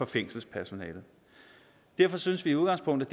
fængselspersonalet derfor synes vi i udgangspunktet